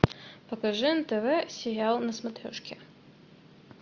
покажи нтв сериал на смотрешке